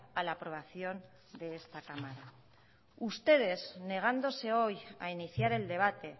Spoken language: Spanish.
a la aprobación de esta cámara ustedes negándose hoy a iniciar el debate